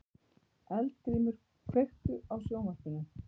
Eldgrímur, kveiktu á sjónvarpinu.